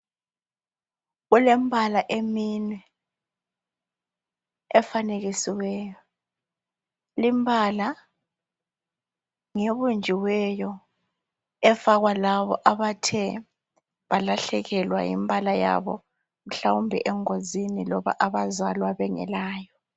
Kule mbala emine efanekisiweyo. limbala ngebunjiweyo efakwa labo abathe balahlekelwa yimbala mhlawumbe engozini loba labo abazalwa bengelayo